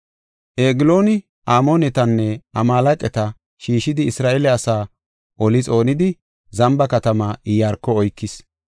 Eglooni Amoonetanne Amaaleqata shiishidi Isra7eele asa oli xoonidi, Zamba katamaa Iyaarko oykis.